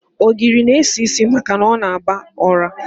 Ogiri n-esi isi maka na ọ na-aba ọra.